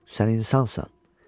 Sən insansan.